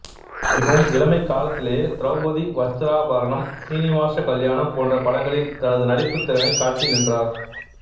மிகவும் இளமைக் காலத்திலேயே திரெளபதி வஸ்திராபரணம் சீனிவாச கல்யாணம் போன்ற படங்களில் தனது நடிப்புத் திறனைத் காட்டி நின்றார்